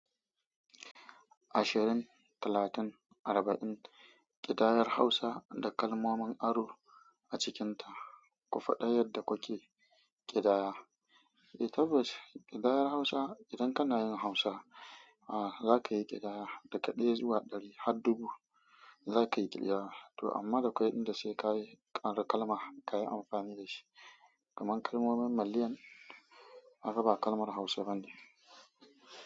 Ashirin, talatin, arba'in ƙidayar Hausa da kalmomin aro a cikinta. Ku faɗa yadda kuke ƙidaya. Eh tabbas ƙidayar Hausa idan kana yin Hausa, a za ka yi ƙidaya daga ɗaya zuwa ɗari har dubu. Za ka yi ƙidaya, to amma da kwaiɗin da sai ka yi kalma ka yi amfani da shi. Kaman kalmomin malliyan kaga ba kalmar Hausa bane.